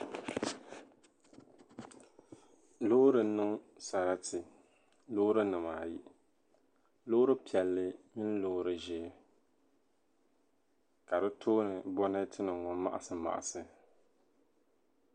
Loori n-niŋ sarati loorinima ayi loori piɛlli mini loori ʒee ka di tooni bɛreetinima ŋɔ maɣisimaɣisi.